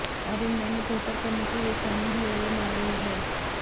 और इंग्लैंड में बेहतर करने की बेचैनी हिलोरे मार रही है